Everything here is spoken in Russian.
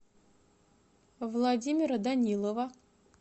владимира данилова